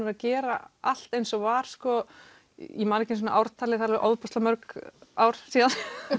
að gera allt eins og var ég man ekki einu sinni ártalið þau eru ofboðslega mörg ár síðan